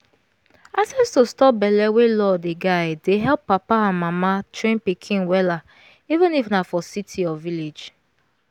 access to stop belle wey law dey guide dey help papa and mama train pikin welleven if na for city or village.